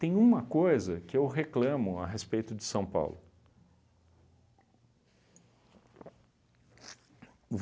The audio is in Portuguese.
Tem uma coisa que eu reclamo a respeito de São Paulo.